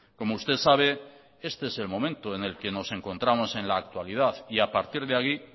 como usted sabe este es el momento en el que nos encontramos en la actualidad y a partir